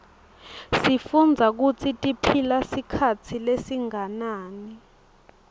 sifundza kutsi tiphila sikhatsi lesinganani